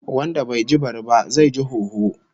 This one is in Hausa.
Wanda bai ji bari ba, zai ga hoho